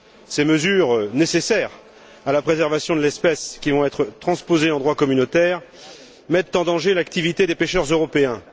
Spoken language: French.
Ces mesures, nécessaires à la préservation de l'espèce, qui vont être transposées en droit communautaire, mettent en danger l'activité des pêcheurs européens.